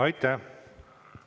Aitäh!